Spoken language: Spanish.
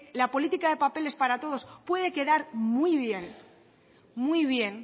la política de papeles para rodos puede quedar muy bien